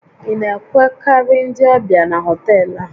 Ị na-enwekarị ndị ọbịa na họtel a?